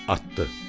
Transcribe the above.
Atdı.